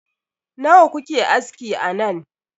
Nawa kuke aski a nan?